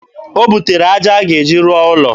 O butere aja a ga-eji rụọ ụlọ.